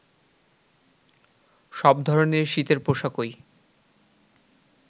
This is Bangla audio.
সব ধরনের শীতের পোশাকই